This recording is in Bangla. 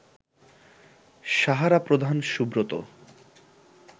সাহারা প্রধান সুব্রত